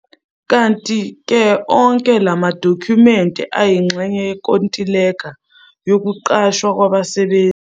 Kanti-ke onke lamadokhumenti ayingxenye yenkontileka yokuqashwa kwabasebenzi.